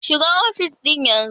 Shiga ofis ɗin yanzu!